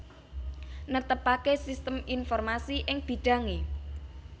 Netepaké sistem informasi ing bidhangé